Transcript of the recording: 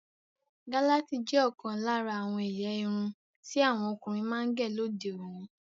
Galasi jẹ́ òkan lára àwọn èyà ìrún tí àwọn ọkùnrin máa ń gẹ́ lódè òní.